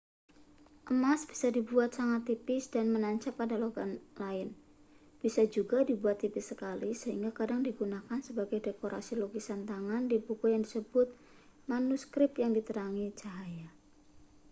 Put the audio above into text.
emas bisa dibuat sangat tipis dan menancap pada logam lain bisa juga dibuat tipis sekali sehingga kadang digunakan sebagai dekorasi lukisan tangan di buku yang disebut manuskrip yang diterangi cahaya